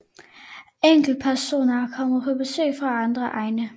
Enkeltpersoner er kommet på besøg fra andre egne